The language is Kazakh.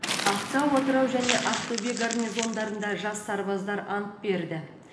ақтау атырау және ақтөбе гарнизондарында жас сарбаздар ант берді